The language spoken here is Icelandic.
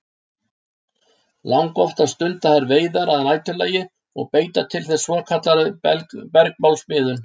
Langoftast stunda þær veiðar að næturlagi og beita til þess svokallaðri bergmálsmiðun.